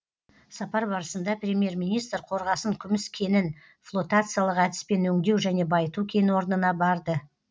сапар барысында премьер министр қорғасын күміс кенін флотациялық әдіспен өңдеу және байыту кен орнына барды